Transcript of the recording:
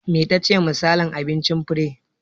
Me tace misalin abincin Fure?